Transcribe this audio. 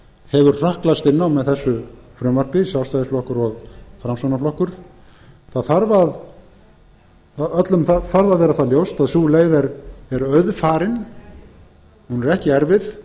hefur hrökklast inn á með þessu frumvarpi sjálfstæðisflokkur og framsóknarflokkur öllum þarf að vera það ljóst að sú leið er auðfarin hún er ekki erfið